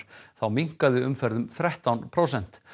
minnkaði umferð um þrettán prósent